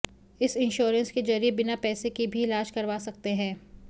इस इंश्योरेंस के जरिए बिना पैसे के भी इलाज करवा सकते हैं